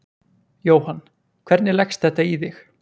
Jóhann: Hvernig leggst þetta í þig?